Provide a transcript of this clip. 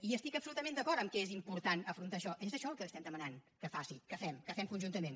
hi estic absolutament d’acord que és important afrontar això és això el que estem demanant que fem que fem conjuntament